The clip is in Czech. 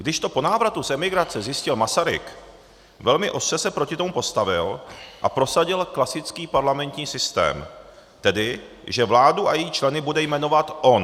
Když to po návratu z emigrace zjistil Masaryk, velmi ostře se proti tomu postavil a prosadil klasický parlamentní systém, tedy že vládu a její členy bude jmenovat on.